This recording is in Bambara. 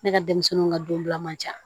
Ne ka denmisɛnninw ka donbila man ca